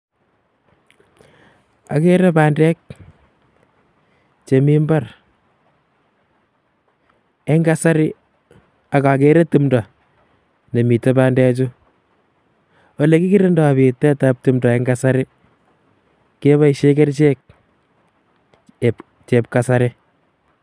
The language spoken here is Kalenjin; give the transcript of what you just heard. agere bandek chemi mbar eng kasari akagere timdo ne mito bandechu. Ole kikirindoi bitetab timdo eng kasari keboisie kerchek um chepkasari.